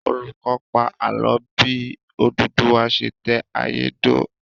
Olùkọ́ pa ààlọ́ bí Odùduwà ṣe tẹ ayé dó